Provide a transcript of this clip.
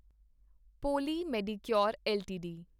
poly Medicure LTD